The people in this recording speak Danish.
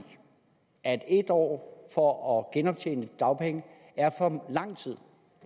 at en år for at genoptjene dagpengeretten er for lang tid